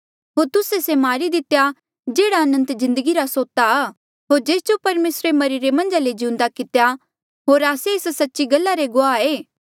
होर तुस्से से मारी दितेया जेहड़ा अनंत जिन्दगी रा सोता आ होर जेस जो परमेसरे मरिरे मन्झा ले जिउंदा कितेया होर आस्से एस सच्ची गल्ला रे गुआह ऐें